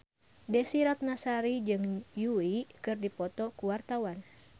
Desy Ratnasari jeung Yui keur dipoto ku wartawan